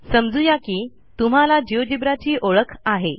समजू या की तुम्हाला जिओजेब्रा ची ओळख आहे